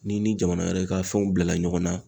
N'i ni jamana wɛrɛ ka fɛnw bila la ɲɔgɔn na